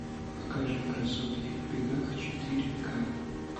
покажи красотки в бегах четыре ка